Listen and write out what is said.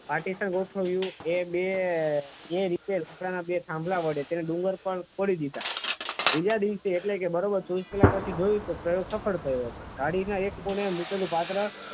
એક પાર્ટીશન ગોઠવ્યું એ બે જે રીતે રીપેર સુતરાવના બે થાંભલા વડે તેને ડુંગર પર ફોડી દીધા. બીજા દિવસે એટલે કે બરાબર ચોવીસ કલાક પછી જોયું તો એ ભાઈ બીજો હતો ગાડીના એક ખૂણે મૂકેલું પાત્ર